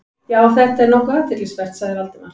Já, þetta er nokkuð athyglisvert- sagði Valdimar.